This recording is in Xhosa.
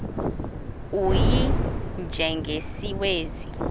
u y njengesiwezi